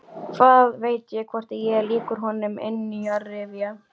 Hvað veit ég, hvort ég er líkur honum innanrifja?